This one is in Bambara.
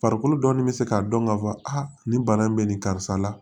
Farikolo dɔɔnin bɛ se k'a dɔn k'a fɔ a nin bana in bɛ nin karisa la